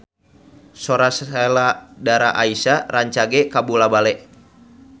Sora Sheila Dara Aisha rancage kabula-bale